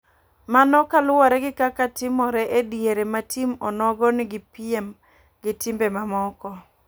Mano kaluwore gi kaka timore e diere ma tim onogo ni gi piem gi timbe ma moko.